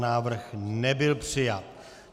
Návrh nebyl přijat.